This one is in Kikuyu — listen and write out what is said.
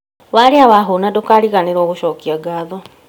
Warĩa na wahũna ndũkariganĩrwo gũcokia ngatho